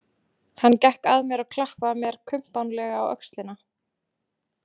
Hann gekk að mér og klappaði mér kumpánlega á öxlina.